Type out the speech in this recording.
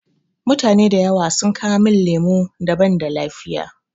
Mutane da yawa sun kawo min lemu da banda lafiya.